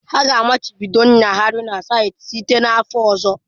Ha ga-amachibido ịnyagharị n'ịntanetị site n'afọ ọzọ.